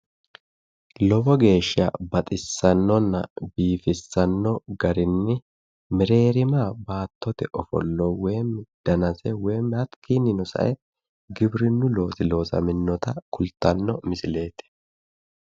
Lowo geeshsha baxissannonna biifissanno garinni mereerima baattote ofollo woyiimmi danase woyiimmi hakkiinnino sa"e giwirinnu loosi loosaminota kultanno misileeti